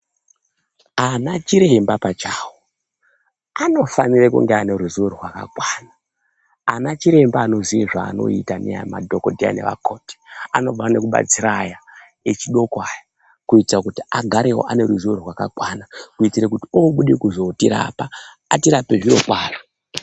Ana chiremba pachawo, anofanire kunga ane ruziwo rwakakwana. Ana chiremba anoziya zveanoita neyamadhokodheya nevakoti anofanira kudetsera vechidoko ava kuita kuti agarewo ane ruziwo rwakakwana. Kuita kuti oouya kuzotirapa, atirape zviro kwazvo.